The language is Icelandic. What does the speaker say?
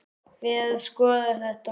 Við að skoða þetta.